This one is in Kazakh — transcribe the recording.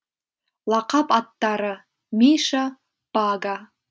лақап аттары миша бага